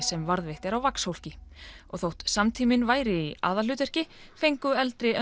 sem varðveitt er á vaxhólki og þótt samtíminn væri í aðalhlutverki fengu eldri